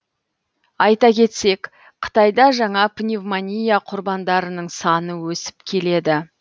айта кетсек қытайда жаңа пневмония құрбандарының саны өсіп келеді